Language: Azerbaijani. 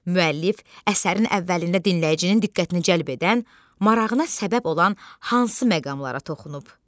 Müəllif əsərin əvvəlində dinləyicinin diqqətini cəlb edən, marağına səbəb olan hansı məqamlara toxunub?